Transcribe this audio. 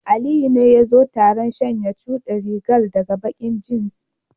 Aliyu ne yazo taron sanye chudi rigar da baki jeans.